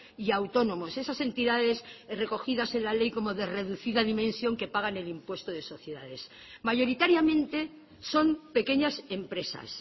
y autónomos esas entidades recogidas en la ley como de reducida dimensión que pagan el impuesto de sociedades mayoritariamente son pequeñas empresas